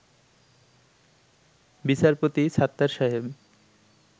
বিচারপতি সাত্তার সাহেব